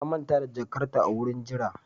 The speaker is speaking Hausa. Ta manta da jakarta a wurin jira